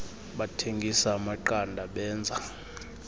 bathengisa amaqanda benza